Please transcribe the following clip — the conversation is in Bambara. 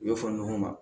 U y'o fɔ ɲɔgɔn ma